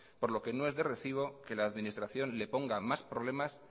por lo que no es de recibo que la administración le ponga más problemas